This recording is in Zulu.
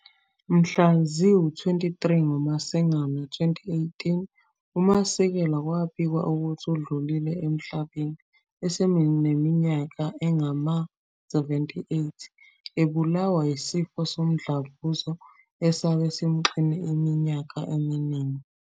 Mhla zi-23 ngoMasingana 2018 uMasikela kwabikwa ukuthi udlulie emhlabeni esenimanyaka engama-78 ebulawa isifo somdlavuza esabe sesimxine iminyaka eminingi.